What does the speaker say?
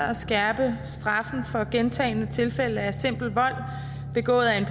at skærpe straffen for gentagne tilfælde af simpel vold begået af en